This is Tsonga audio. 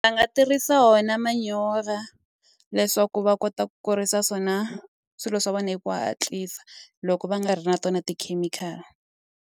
Va nga tirhisa wona manyora leswaku va kota ku kurisa swona swilo swa wena hi ku hatlisa loko va nga ri na tona tikhemikhali.